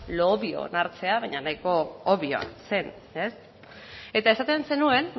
lo obvio hartzean baina nahiko obvio zen eta esaten zenuen